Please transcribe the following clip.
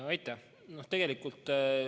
Aitäh!